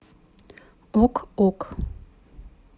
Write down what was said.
ок ок